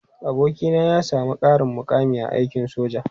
Abokina ya sami ƙarin mukami a aikin soja.